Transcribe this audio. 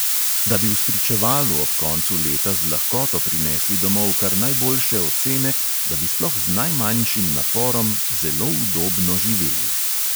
Da bi v spričevalu ob koncu leta z lahkoto prinesli domov kar najboljše ocene, da bi sploh z najmanjšim naporom zelo udobno živeli.